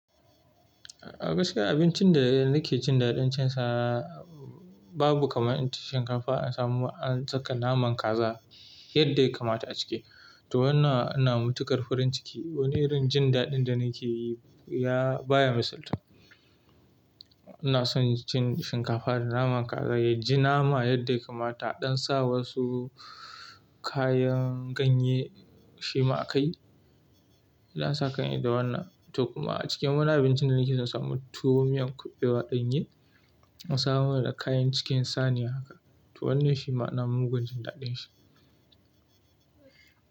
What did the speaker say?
Gaskiya abincin da nake jin daɗin cin sa babu kamar inci shinkafa a samu ancika naman kaza yadda ya kamata a ciki. To wannan ina matuƙar farin ciki. Wani irin jin daɗin da nike yi baya misaltu. Ina son cin shinkafa da naman kaza, ya ji nama yadda ya kamata ɗan sa wasu kayan ganye shima a kai. Za sa kai ne da wannan to kuma a cikin wani abincin da nake son samun tuwo miyan kuɓewa ɗan ye, an samo man da kayan cikin saniya haka. To wannan shi ma ina mugun jin daɗin shi.